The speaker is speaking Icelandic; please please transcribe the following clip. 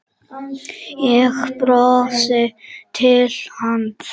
Ég brosi til hans.